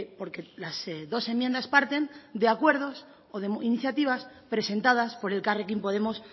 porque las dos enmiendas parten de acuerdos o de iniciativas presentadas por elkarrekin podemos